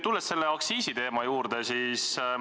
Tulen aga tagasi aktsiisiteema juurde.